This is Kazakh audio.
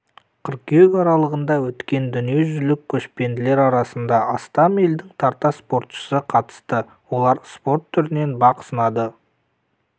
қыркүйек аралығында өткен дүниежүзілік көшпенділер жарысына астам елдің тарта спортшысы қатысты олар спорт түрінен бақ сынады